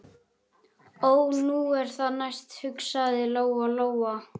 Ó, nú er það næst, hugsaði Lóa Lóa.